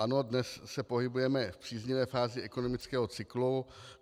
Ano, dnes se pohybujeme v příznivé fázi ekonomického cyklu.